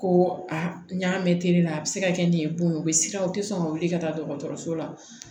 Ko a n y'a mɛ teri la a bɛ se ka kɛ nin ye bon ye o bɛ siran o tɛ sɔn ka wuli ka taa dɔgɔtɔrɔso la